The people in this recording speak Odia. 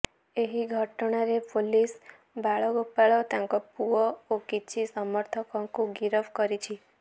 ଏହି ଘଟଣାରେ ପୋଲିସ ବାଳଗୋପାଳ ତାଙ୍କ ପୁଅ ଓ କିଛି ସମର୍ଥକଙ୍କୁ ଗିରଫ କରିଛି